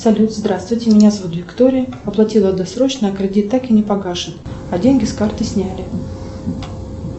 салют здравствуйте меня зовут виктория оплатила досрочно кредит так и не погашен а деньги с карты сняли